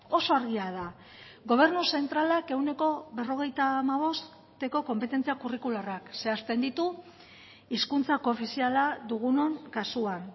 oso argia da gobernu zentralak ehuneko berrogeita hamabosteko konpetentzia kurrikularrak zehazten ditu hizkuntza koofiziala dugunon kasuan